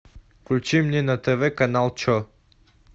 включи мне на тв канал че